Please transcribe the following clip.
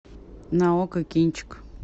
на окко кинчик